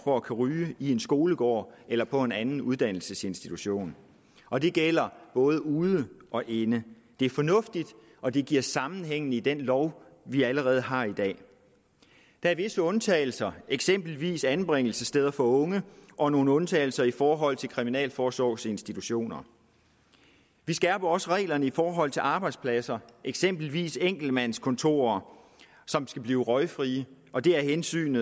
for at kunne ryge i en skolegård eller på en anden uddannelsesinstitution og det gælder både ude og inde det er fornuftigt og det giver sammenhæng i den lov vi allerede har i dag der er visse undtagelser eksempelvis anbringelsessteder for unge og nogle undtagelser i forhold til kriminalforsorgens institutioner vi skærper også reglerne i forhold til arbejdspladser eksempelvis enkeltmandskontorer som skal blive røgfrie og det er af hensyn